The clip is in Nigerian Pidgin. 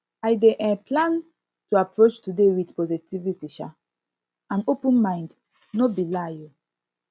i dey um plan to approach today with positivity um and open mind no be lie um